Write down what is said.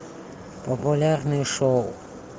популярные шоу